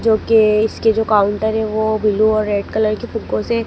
जो के इसके जो काउंटर है वो ब्लू और रेड कलर की से --